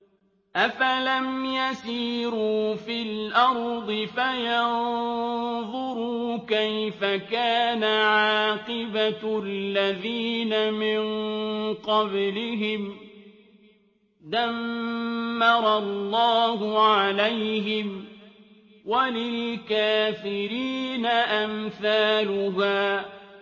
۞ أَفَلَمْ يَسِيرُوا فِي الْأَرْضِ فَيَنظُرُوا كَيْفَ كَانَ عَاقِبَةُ الَّذِينَ مِن قَبْلِهِمْ ۚ دَمَّرَ اللَّهُ عَلَيْهِمْ ۖ وَلِلْكَافِرِينَ أَمْثَالُهَا